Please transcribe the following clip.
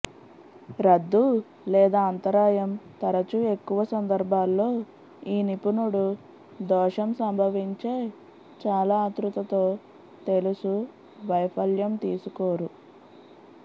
రద్దు లేదా అంతరాయం తరచూ ఎక్కువ సందర్భాల్లో ఈ నిపుణుడు దోషం సంభవించే చాలా ఆత్రుతతో తెలుసు వైఫల్యం తీసుకోరు